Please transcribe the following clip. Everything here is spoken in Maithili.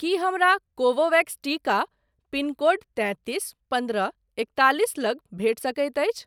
की हमरा कोवोवेक्स टीका पिन कोड तैंतीस पन्द्रह एकतालिस लग भेटि सकैत अछि?